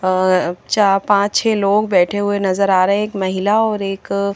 अ और चार पांच छे लोग बैठे हुए नजर आ रहे है एक महिला और एक--